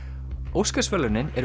Óskarsverðlaunin eru